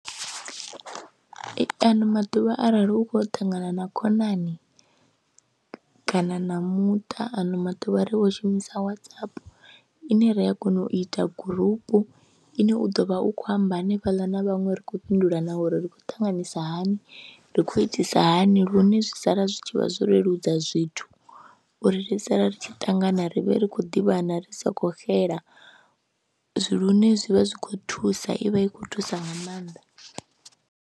Ano maḓuvha arali u khou ya u ṱangana na khonani kana na muṱa ano maḓuvha ri vho shumisa Whatsapp ine ri a kona u ita gurupu, ine u ḓo vha u khou amba hanefhaḽa na vhaṅwe ri khou fhindula na uri ri khou ṱanganyisa hani, ri khou itisa hani lune zwi sala zwi tshi vha zwo leludza zwithu uri ri sala ri tshi ṱangana ri vhe ri khou ḓivhana ri sa khou xela lune zwi vha zwi khou thusa, i vha i khou thusa nga maanḓa.